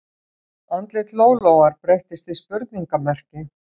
Andlit Lólóar breytist í spurningarmerki